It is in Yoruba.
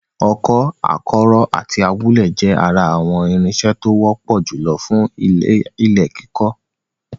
Ọkọ́, akọ́rọ́ àti awúlẹ̀ jẹ́ ara àwọn irinṣẹ́ tó wọ́pọ̀ jùlọ fún ilẹ̀ kíkọ.